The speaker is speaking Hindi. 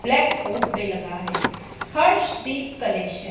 ब्लैकबोर्ड पे लगा है हर्षदीप कलेक्शन ।